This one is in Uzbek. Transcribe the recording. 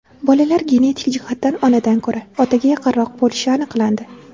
Bolalar genetik jihatdan onadan ko‘ra, otaga yaqinroq bo‘lishi aniqlandi.